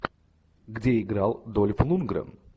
где играл дольф лундгрен